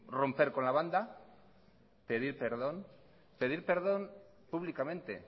romper con la banda pedir perdón pedir perdón públicamente